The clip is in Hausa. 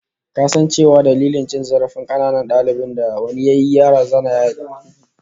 Ka san cewa dalilin cin zarafin kananan dalibin da wani yayi, yaron ya razana razana ya ki jinin jama'a?